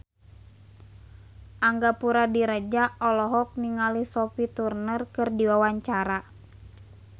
Angga Puradiredja olohok ningali Sophie Turner keur diwawancara